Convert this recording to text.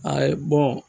Ayi